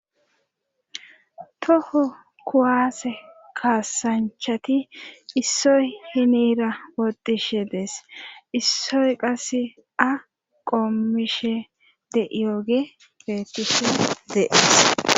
toho kuwaase kaasanchati issoy hinira wodishe dees issoy qase a qommishe de iyooge beetise deees